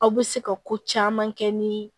Aw bɛ se ka ko caman kɛ ni